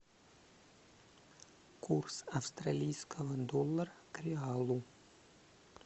курс австралийского доллара к реалу